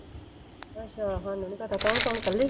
ਅੱਛਾ ਸਾਨੂੰ ਨੀ ਪਤਾ, ਕੌਣ ਕੌਣ ਇਕੱਲੀ?